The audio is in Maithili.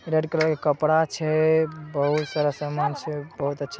रेड कलर के कपड़ा छै बहुत सारा सामान छै बहुत अच्छा--